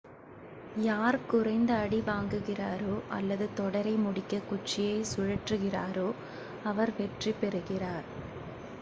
யார் குறைந்த அடி வாங்குகிறாரோ அல்லது தொடரை முடிக்க குச்சியைச் சுழற்றுகிறாரோ அவர் வெற்றி பெறுகிறார்